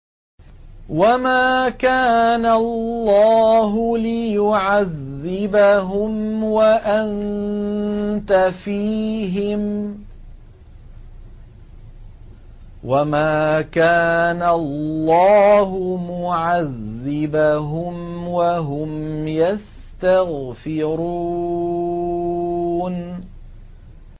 وَمَا كَانَ اللَّهُ لِيُعَذِّبَهُمْ وَأَنتَ فِيهِمْ ۚ وَمَا كَانَ اللَّهُ مُعَذِّبَهُمْ وَهُمْ يَسْتَغْفِرُونَ